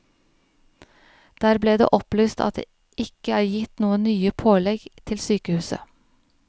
Der ble det opplyst at det ikke er gitt noen nye pålegg til sykehuset.